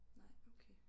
Nej okay